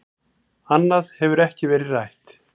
Annað hefur ekkert verið rætt